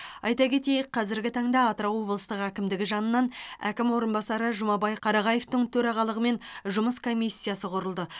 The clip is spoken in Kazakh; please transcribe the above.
айта кетейік қазіргі таңда атырау облыстық әкімдігі жанынан әкім орынбасары жұмабай қарағаевтың төрағалығымен жұмыс комиссиясы құрылды